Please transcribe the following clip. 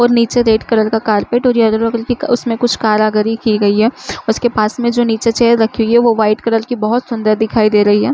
और नीचे red colour का कारपेट और येल्लो कलर उसमे कुछ करागरी की गयी है। उसके पास में नीचे जो चेयर रखी गयी है वो वाइट कलर की बहोत सूंदर दिखाई दे रही है।